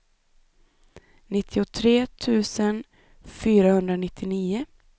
nittiotre tusen fyrahundranittionio